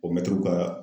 O mɛtiriw ka